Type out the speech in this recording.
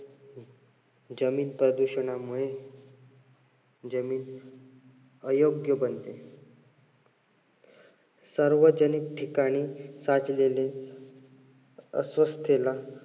जमीन प्रदूषणामुळे जमीन अयोग्य बनते. सार्वजनिक ठिकाणी साचलेले अस्वस्थेला